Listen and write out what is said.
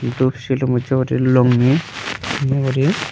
doob silum ucche guri longi lengeri.